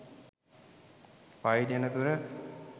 පයින් එන දුර.